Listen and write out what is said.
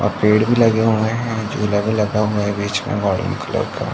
और पेड भी लगे हुए है। झुला भी लगा हुआ है बीच में कलर का |